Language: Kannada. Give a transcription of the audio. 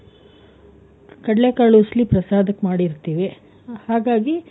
ಕಡ್ಲೆ ಕಾಳು ಉಸ್ಲಿ ಪ್ರಸಾದಕ್ಕೆ ಮಾಡಿರ್ತೀವಿ ಹಾಗಾಗಿ,